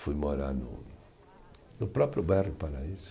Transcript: Fui morar no, no próprio bairro do Paraíso.